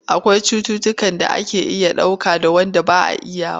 Akwai cututtukan da ake iya dauka da wand ba a iyawa.